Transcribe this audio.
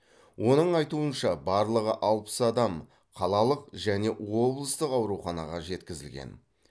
оның айтуынша барлығы алпыс адам қалалық және облыстық ауруханаға жеткізілген